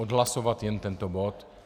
Odhlasovat jen tento bod?